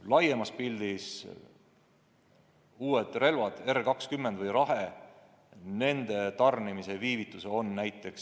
Laiemas pildis võib öelda, et uute relvade R20 Rahe tarnimine venis pandeemia tõttu.